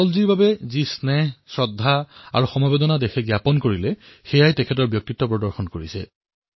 অটলজীৰ বাবে যি স্নেহ যি শ্ৰদ্ধা আৰু যি শোকৰ ভাৱনা সমগ্ৰ দেশতে দেখা গল ইয়েই তেওঁৰ ব্যক্তিত্বৰ প্ৰৱলতা প্ৰদৰ্শন কৰিছে